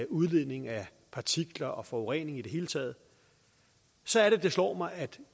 udledningen af partikler og forurening i det hele taget så er det det slår mig